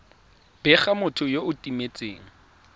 bega motho yo o timetseng